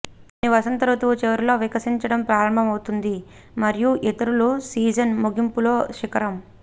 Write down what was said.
కొన్ని వసంత ఋతువు చివరిలో వికసించడం ప్రారంభమవుతుంది మరియు ఇతరులు సీజన్ ముగింపులో శిఖరం